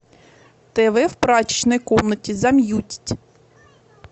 тв в прачечной комнате замьютить